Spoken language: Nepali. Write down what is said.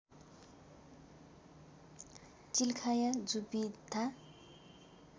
चिल्खाया जुविथा